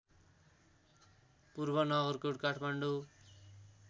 पूर्व नगरकोट काठमाडौँ